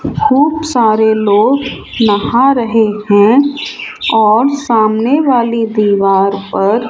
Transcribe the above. खूब सारे लोग नहा रहे हैं और सामने वाली दीवार पर --